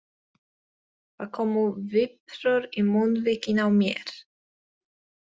Það komu viprur í munnvikin á mér.